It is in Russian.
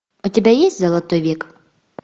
у тебя есть золотой век